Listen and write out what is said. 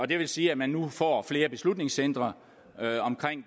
det vil sige at man nu får flere beslutningscentre